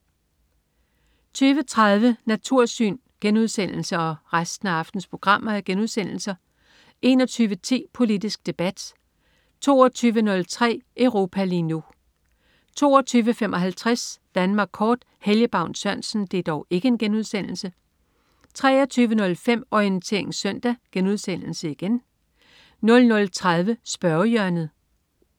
20.30 Natursyn* 21.10 Politisk Debat* 22.03 Europa lige nu* 22.55 Danmark Kort. Helge Baun Sørensen 23.05 Orientering Søndag* 00.30 Spørgehjørnet*